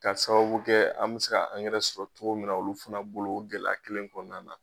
K'a sababu kɛ an be se ka angɛrɛ sɔrɔ cogo min na olu fɛnɛ bolo o gɛlɛ kelen kɔnɔna na